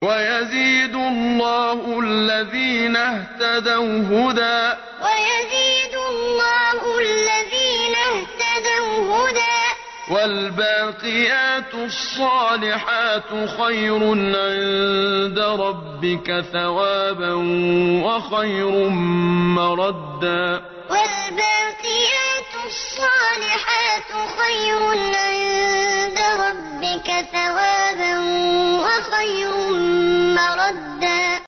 وَيَزِيدُ اللَّهُ الَّذِينَ اهْتَدَوْا هُدًى ۗ وَالْبَاقِيَاتُ الصَّالِحَاتُ خَيْرٌ عِندَ رَبِّكَ ثَوَابًا وَخَيْرٌ مَّرَدًّا وَيَزِيدُ اللَّهُ الَّذِينَ اهْتَدَوْا هُدًى ۗ وَالْبَاقِيَاتُ الصَّالِحَاتُ خَيْرٌ عِندَ رَبِّكَ ثَوَابًا وَخَيْرٌ مَّرَدًّا